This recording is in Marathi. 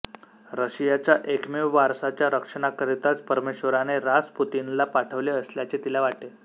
रशियाच्या एकमेव वारसाच्या रक्षणाकरिताच परमेश्वराने रासपुतीनला पाठविले असल्याचे तिला वाटे